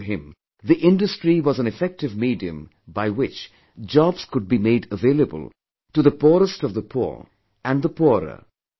According to him the industry was an effective medium by which jobs could be made available to the poorest of the poor and the poorer